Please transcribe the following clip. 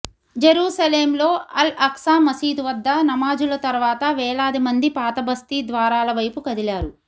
జెరూసలేంలో Al Aqsa మసీదు వద్ద నమాజుల తరువాత వేలాది మంది పాతబస్తీ ద్వారాల వైపు కదిలారు